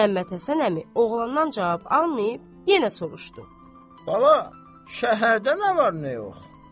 Məmmədhəsən əmi oğlandan cavab almayıb, yenə soruşdu: "Bala, şəhərdə nə var, nə yox?"